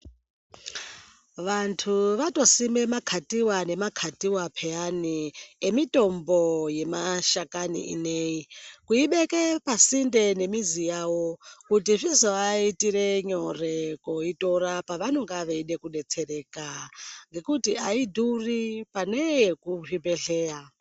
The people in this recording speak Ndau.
Vantu vanosime makatiwa nemakatiwa piyani emitombo yemashakani inei kuibeke pasinde nemizi yavo kuti zvizovaitire nyore koitora pavanonga veide kudetsereka ngekuti ayidhuri pane yekuzvibhedhlera .